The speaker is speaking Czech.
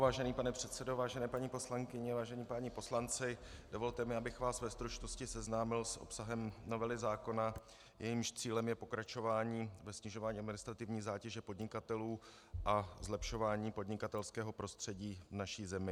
Vážený pane předsedo, vážené paní poslankyně, vážení páni poslanci, dovolte mi, abych vás ve stručnosti seznámil s obsahem novely zákona, jejímž cílem je pokračování ve snižování administrativní zátěže podnikatelů a zlepšování podnikatelského prostředí v naší zemi.